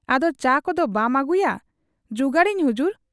ᱟᱫᱚ ᱪᱟ ᱠᱚᱫᱚ ᱵᱟᱢ ᱟᱹᱜᱩᱭᱟ ?' ᱼᱼᱼᱡᱩᱜᱟᱹᱲᱟᱹᱧ ᱦᱩᱡᱩᱨ ᱾